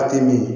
A tɛ min